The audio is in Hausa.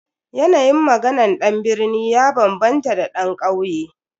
Yanayin maganan dan birni ya bambanta da dan kauye.